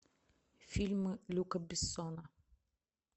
фильмы люка бессона